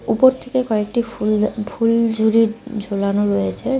উপর থেকে কয়েকটি ফুল ফুলঝুড়ি ঝুলানো রয়েছে।